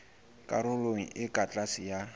karolong e ka tlase ya